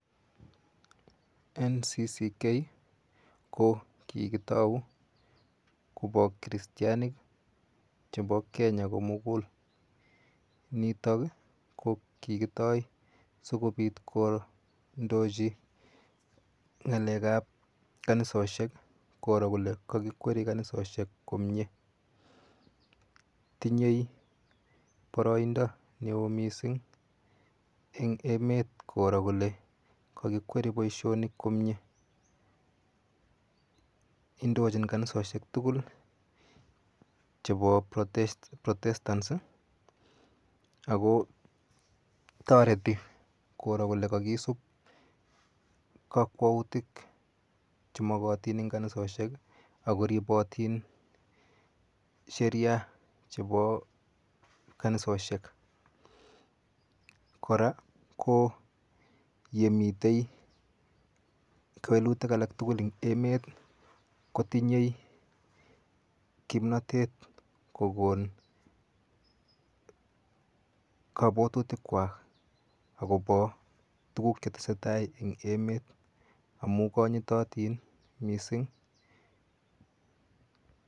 Ncck ko kikitou kopo chritianik chepo Kenya komukul nitok ko kikitoi sikopit kondochi ng'alek ap kanisoshek koro kole kokikweri kanisoshek komie tinyei poroindo neo mising eng emet koro kole kakikweri boishonik komie indochin kanisoshek tukul chepo protestants ako toreti koro kole kakisup kokwoutik chemakati eng kanisoshek akoripotin sheria chepo kanisoshek kora ko yemitei welutik alak tukul eng emet kotinyei kimnotet kokon kapwotutik kwach akopo tukuk chetesetai eng emet amu konyitotin mising